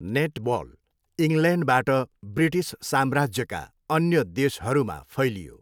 Netball इङ्ल्यान्डबाट British साम्राज्यका अन्य देशहरूमा फैलियो।